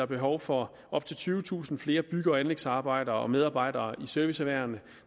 behov for op til tyvetusind flere bygge og anlægsarbejdere og medarbejdere i serviceerhvervene